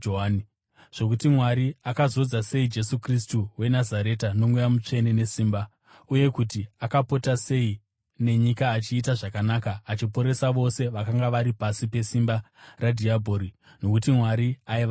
zvokuti Mwari akazodza sei Jesu Kristu weNazareta noMweya Mutsvene nesimba, uye kuti akapota sei nenyika achiita zvakanaka achiporesa vose vakanga vari pasi pesimba radhiabhori, nokuti Mwari aiva naye.